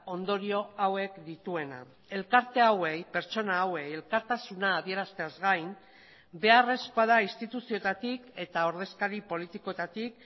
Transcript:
ondorio hauek dituena elkarte hauei pertsona hauei elkartasuna adierazteaz gain beharrezkoa da instituzioetatik eta ordezkari politikoetatik